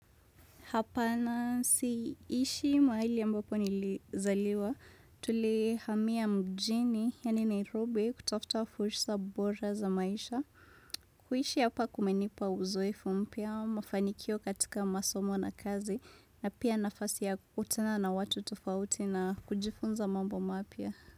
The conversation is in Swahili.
Hapana siishi mahali ambapo nilizaliwa. Tuli hamia mjini, yani Nairobi, kutafuta fursa bora za maisha. Kuishi hapa kumenipa uzoefu mpya, mafanikio katika masomo na kazi, na pia nafasi ya kukutana na watu tofauti na kujifunza mambo mapya.